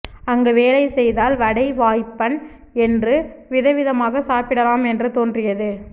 அங்கு வேலை செய்தால் வடை வாய்ப்பன் என்று விதவிதமாக சாப்பிடலாம் என்று தோன்றியது